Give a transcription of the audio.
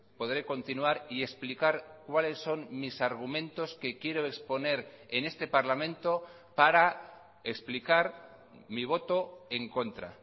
podré continuar y explicar cuáles son mis argumentos que quiero exponer en este parlamento para explicar mi voto en contra